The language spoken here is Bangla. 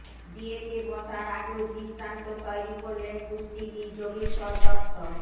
বিয়েতে বসার আগেও দৃষ্টান্ত তৈরি করলেন কুস্তিগীর যোগেশ্বর দত্ত